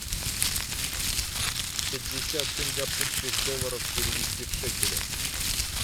пятьдесят сингапурских долларов перевести в шекели